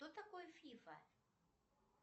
кто такой фифа